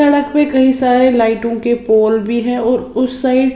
सड़क में कई सारे लाइटों के पोल भी है उस साइड --